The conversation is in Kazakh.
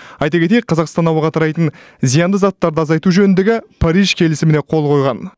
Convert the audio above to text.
айта кетейік қазақстан ауаға тарайтын зиянды заттарды азайту жөніндегі париж келісіміне қол қойған